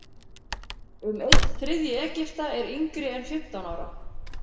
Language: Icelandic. Um einn þriðji Egypta er yngri en fimmtán ára.